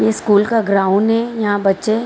ये स्कूल का ग्राउंन है यहाँ बच्चे --